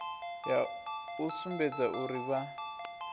ya u sumbedza uri vha